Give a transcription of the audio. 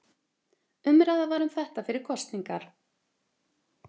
Umræða var um þetta fyrir kosningar